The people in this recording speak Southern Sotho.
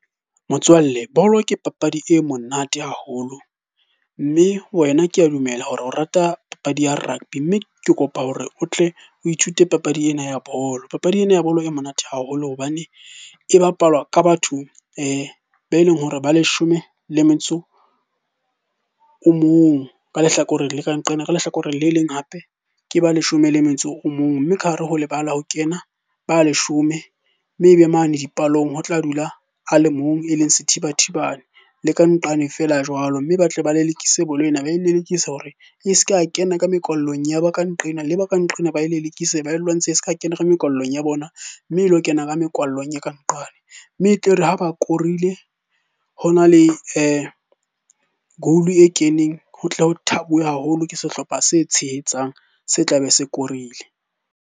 Motswalle, bolo ke papadi e monate haholo. Mme wena kea dumela hore o rata papadi ya rugby, mme ke kopa hore o tle o ithute papadi ena ya bolo. Papadi ena ya bolo e monate haholo hobane e bapalwa ka batho be leng hore ba leshome le metso o mong ka lehlakoreng nqena. Ka lehlakoreng le leng hape ke ba leshome le metso o mong. Mme ka hare ho lebala ho kena ba leshome, mme ebe mane dipalong ho tla dula a le mong e leng sethibathibane le ka nqane feela jwalo. Mme ba tle ba lelekise bolo ena, ba e lelekisa hore e se ke ya kena ka mekwallong. Ya ba ka nqena, le ba ka nqena ba e lelekise, ba e lwantshe e se ka kena ka mekwallong ya bona mme e lo kena ka mekwallong e ka nqane. Mme e tle re ha ba korile hona le goal e keneng ho tle ho thabiwe haholo ke sehlopha se tshehetsang, se tlabe se korile.